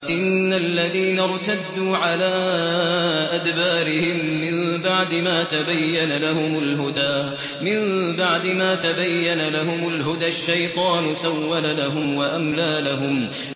إِنَّ الَّذِينَ ارْتَدُّوا عَلَىٰ أَدْبَارِهِم مِّن بَعْدِ مَا تَبَيَّنَ لَهُمُ الْهُدَى ۙ الشَّيْطَانُ سَوَّلَ لَهُمْ وَأَمْلَىٰ لَهُمْ